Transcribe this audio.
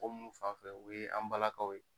mɔgɔ minnu fan fɛ, o ye an balakaw ye.